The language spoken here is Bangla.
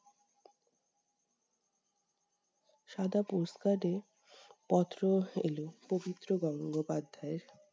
সাদা post -card এ পত্র এলো পবিত্র গঙ্গোপাধ্যায়ের।